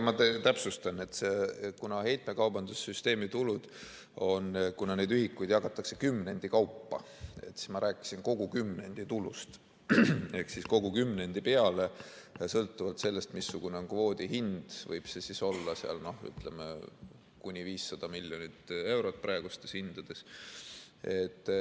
Ma täpsustan, et kuna heitmekaubanduse süsteemi tulude puhul neid ühikuid jagatakse kümnendi kaupa, siis ma rääkisin kogu kümnendi tulust ehk siis kogu kümnendi peale, sõltuvalt sellest, missugune on kvoodi hind, võib see olla kuni 500 miljonit eurot praegustes hindades.